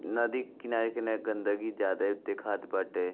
नदी के किनारे किनारे गन्दगी ज्यादे दिखात बाटे।